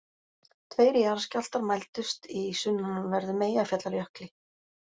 Tveir jarðskjálftar mældust í sunnanverðum Eyjafjallajökli